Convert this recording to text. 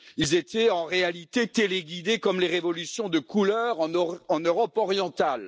Ils étaient en réalité téléguidés comme les révolutions de couleur en Europe orientale.